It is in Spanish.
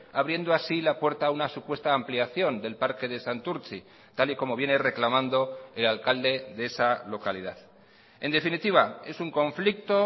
abriendo así la puerta a una supuesta ampliación del parque de santurtzi tal y como viene reclamando el alcalde de esa localidad en definitiva es un conflicto